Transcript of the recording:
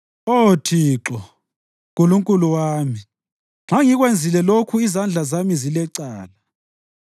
Oh Thixo, Nkulunkulu wami, nxa ngikwenzile lokhu izandla zami zilecala,